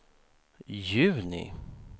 juni